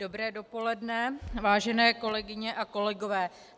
Dobré dopoledne, vážené kolegyně a kolegové.